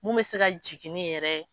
Mun bɛ se ka jigini yɛrɛ